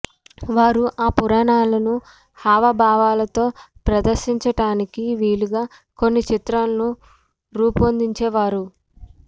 వారు ఆ పురాణాలను హావభావాలతో ప్రదర్శించడానికి వీలుగా కొన్ని చిత్రాలను రూపొందించేవారు